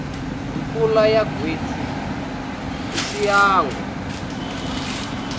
mpfula ya gwitsi a xiangu